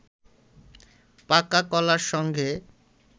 পাকা কলার সঙ্গে